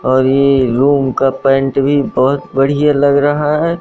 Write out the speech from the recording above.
और ये रूम का पैंट भी बहोत बढ़िया लग रहा है।